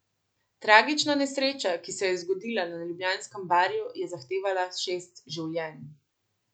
Tragična nesreča, ki se je zgodila na ljubljanskem Barju, je zahtevala šest življenj.